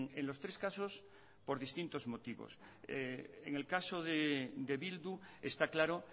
en los tres casos por distintos motivos en el caso de bildu está claro